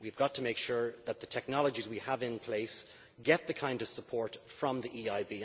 We have got to make sure that the technologies we have in place get this kind of support from the EIB.